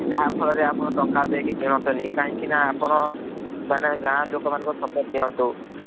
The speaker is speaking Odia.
ଯାହା ଫଳ ରେ ଆପଣ ଟଙ୍କା ଦେଇକି କିନନ୍ତିନୀ କାହିଁକି ନା ଆପଣ ଗାଁ ଲୋକ ମାନଙ୍କ ର support ନିଅନ୍ତୁ ।